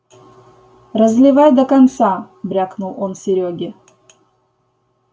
разливай до конца брякнул он серёге